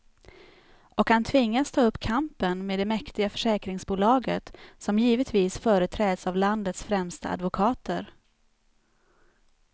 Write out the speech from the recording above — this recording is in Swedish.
Och han tvingas ta upp kampen med det mäktiga försäkringsbolaget, som givetvis företräds av landets främsta advokater.